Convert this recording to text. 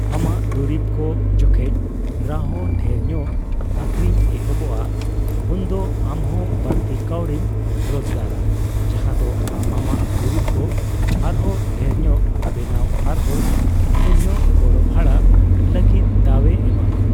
ᱟᱢᱟᱜ ᱫᱩᱨᱤᱵᱽ ᱠᱚ ᱡᱚᱠᱷᱮᱡ ᱨᱟᱦᱚᱸ ᱰᱷᱮᱨ ᱧᱚᱜ ᱟᱹᱠᱷᱨᱤᱧ ᱮᱦᱚᱵᱚᱜᱼᱟ, ᱩᱱᱫᱚ ᱟᱢ ᱦᱚᱸ ᱵᱟᱲᱛᱤ ᱠᱟᱣᱰᱤᱢ ᱨᱚᱡᱠᱟᱨᱟ, ᱡᱟᱦᱟᱫᱚ ᱟᱢ ᱟᱢᱟᱜ ᱫᱩᱨᱤᱵᱽ ᱠᱚ ᱟᱨᱦᱚᱸ ᱰᱷᱮᱨᱧᱚᱜ ᱵᱮᱱᱟᱣ ᱟᱨᱦᱚᱸ ᱰᱷᱮᱨ ᱧᱚᱜ ᱜᱚᱲᱚ ᱵᱷᱟᱲᱟ ᱞᱟᱹᱜᱤᱫ ᱫᱟᱣᱮ ᱮᱢᱟᱢᱟ ᱾